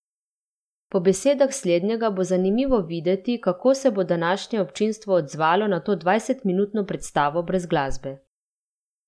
Po besedah slednjega bo zanimivo videti, kako se bo današnje občinstvo odzvalo na to dvajsetminutno predstavo brez glasbe.